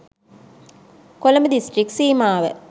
Colombo district සීමාව